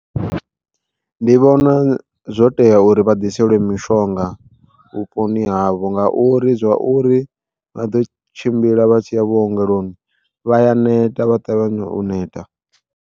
Ndi vhona zwo tea uri vha ḓiseliwe mishonga vhuponi havho nga uri zwa uri vha ḓo tshimbila vha tshi ya vhuongeloni vha ya neta vha ṱavhanya u neta.